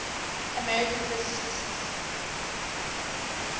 american physicists